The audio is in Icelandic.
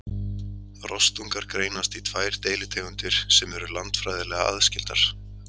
rostungar greinast í tvær deilitegundir sem eru landfræðilega aðskildar